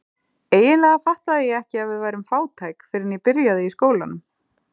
Eiginlega fattaði ég ekki að við værum fátæk fyrr en ég byrjaði í skólanum.